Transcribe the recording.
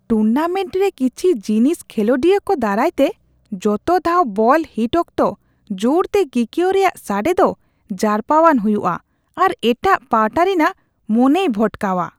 Tournament ᱨᱮ ᱠᱤᱪᱷᱤ tennis ᱠᱷᱮᱞᱳᱰᱤᱭᱟᱹ ᱠᱚ ᱫᱟᱨᱟᱭ ᱛᱮ ᱡᱚᱛᱚ ᱫᱷᱟᱣ ᱵᱚᱞ ᱦᱤᱴ ᱚᱠᱛᱚ ᱡᱚᱨᱛᱮ ᱠᱤᱠᱭᱟᱹᱣ ᱨᱮᱭᱟᱜ ᱥᱟᱰᱮ ᱫᱚ ᱡᱟᱨᱯᱟᱣᱟᱱ ᱦᱩᱭᱩᱜᱼᱟ ᱟᱨ ᱮᱴᱟᱜ ᱯᱟᱦᱴᱟ ᱨᱤᱱᱟᱜ ᱢᱚᱱᱮᱭ ᱵᱷᱚᱴᱠᱟᱣᱼᱟ ᱾